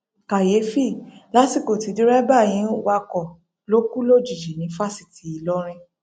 kàyééfì lásìkò tí dẹrẹbà yìí ń wakọ ló kù lójijì ní fásitì ìlọrin